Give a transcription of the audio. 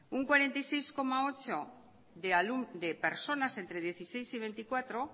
un cuarenta y seis coma ocho por ciento de personas entre dieciséis y veinticuatro